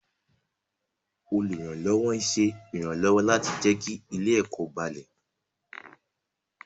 Olùrànlọ́wọ́ ń ṣe ìrànlọ́wọ́ láti jẹ́ kí ilé-ẹ̀kọ́ balẹ̀.